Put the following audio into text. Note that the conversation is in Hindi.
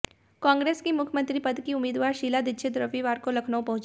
कांग्रेस की मुख्यमंत्री पद की उम्मीदवार शीला दीक्षित रविवार को लखनऊ पहुंचीं